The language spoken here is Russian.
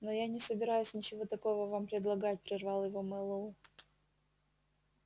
но я не собираюсь ничего такого вам предлагать прервал его мэллоу